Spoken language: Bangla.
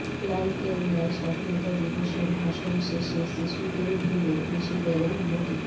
লালকেল্লায় স্বাধীনতা দিবসের ভাষণ শেষে শিশুদের ভিড়ে মিশে গেলেন মোদী